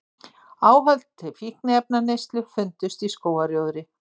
Áhöld til fíkniefnaneyslu fundust í skógarrjóðri